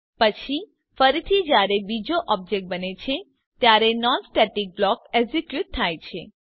પછી ફરીથી જયારે બીજો ઓબ્જેક્ટ બને છે ત્યારે નોન સ્ટેટિક બ્લોક એક્ઝીક્યુટ થાય છે